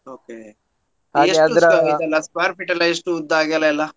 Okay ಎಷ್ಟು square square feet ಯೆಲ್ಲ ಎಷ್ಟು ಉದ್ದ ಅಗಲ ಎಲ್ಲಾ.